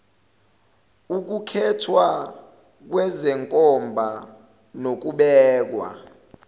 ukukhethwa kwezenkomba nokubekwa